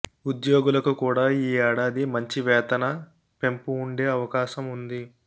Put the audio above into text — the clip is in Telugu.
ఉద్యోగులకు కూడా ఈ ఏడాది మంచి వేతన పెంపు ఉండే అవకాశం ఉంది